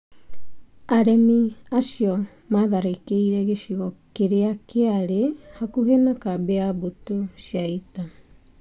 Aremi acio maatharĩkĩire gĩcigo kĩrĩa kĩarĩ hakuhĩ na kambĩ ya mbũtũ cia ita.